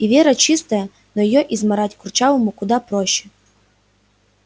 и вера чистая но её измарать курчавому куда проще